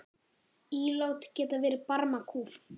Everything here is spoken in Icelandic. Ílát geta verið barmakúf.